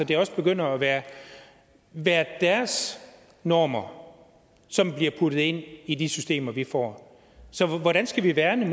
det også begynder at være deres normer som bliver puttet ind i de systemer vi får så hvordan skal vi værne